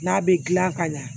N'a bɛ gilan ka ɲa